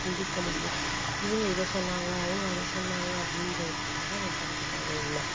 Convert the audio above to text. சிந்திக்க முடியும் இவங்க இதை சொன்னாங்க அவங்க அதை சொன்னாங்க அப்படின்றதுக்காக அவன் படிக்க தேவையில்ல